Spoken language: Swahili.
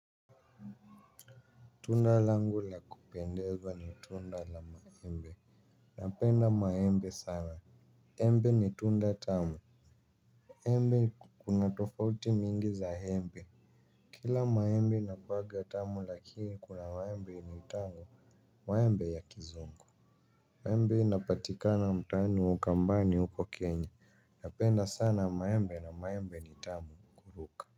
Tunda langu la kupendeza ni tunda la maembe. Napenda maembe sana. Embe ni tunda tamu. Embe kuna tofauti mingi za embe. Kila maembe inakuwaga tamu lakini kuna maembe inaitangwa maembe ya kizungu. Maembe hii inapatikana mtaani wa ukambani huko kenya. Napenda sana maembe na maembe ni tamu kuruka.